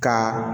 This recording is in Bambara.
Ka